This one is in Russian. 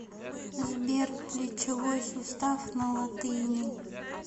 сбер плечевой сустав на латыни